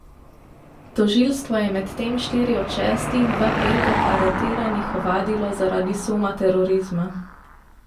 Tožilstvo je medtem štiri od šestih v petek aretiranih ovadilo zaradi suma terorizma.